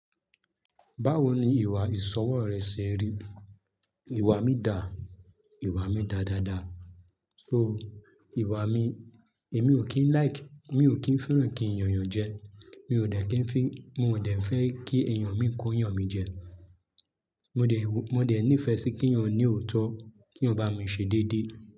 Báwo ni ìwà ìsọwọ́ rẹ ṣe rí? Ìwà mi da, ìwà mi da dada. So ìwà mi, èmi ò kí ń like, mi ò kí ń fẹ́ràn kí n yan èèyàn jẹ. Mi ò dẹ̀ kí ń fi, mi ò dẹ̀ fẹ́ kí ènìyàn mi kó yàn mi jẹ. Mo dẹ̀ nífẹ̀ẹ́ sí kí ènìyàn ní òótọ́, kí èèyàn bá mi ṣe dédé.